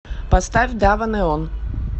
поставь дава неон